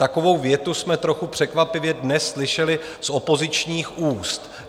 Takovou větu jsme trochu překvapivě dnes slyšeli z opozičních úst.